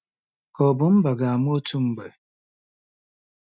Ka ọ̀ bụ mba ga-amụ otu mgbe?